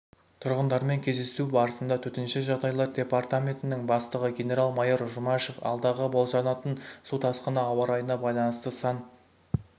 тұрғындармен кездесу барысында төтенше жағдайлар департаментінің бастығы генерал-майор жұмашев алдағы болжанатын су тасқыны ауа-райына байланысты сан